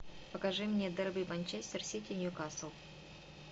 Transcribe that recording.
покажи мне дерби манчестер сити ньюкасл